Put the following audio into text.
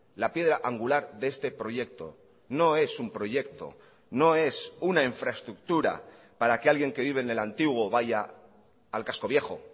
la piedra angular de este proyecto no es un proyecto no es una infraestructura para que alguien que vive en el antiguo vaya al casco viejo